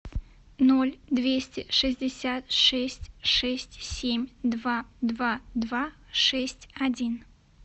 ноль двести шестьдесят шесть шесть семь два два два шесть один